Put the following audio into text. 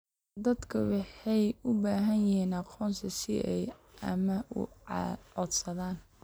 Dadku waxay u baahan yihiin aqoonsi si ay amaah u codsadaan.